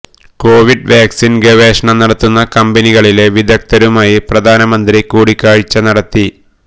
Covid vaccine ഗവേഷണം നടത്തുന്ന കമ്പനികളിലെ വിദഗ്ധരുമായി പ്രധാനമന്ത്രി കൂടിക്കാഴ്ച നടത്തി